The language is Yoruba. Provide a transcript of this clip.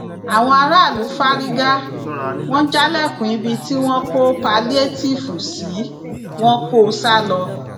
àwọn aráàlú fárígá wọn jálẹkùn ibi tí wọn kó pálíétììfù sí wọn kó o sá lọ